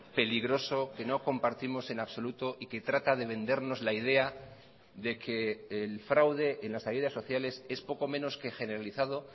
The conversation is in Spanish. peligroso que no compartimos en absoluto y que trata de vendernos la idea de que el fraude en las ayudas sociales es poco menos que generalizado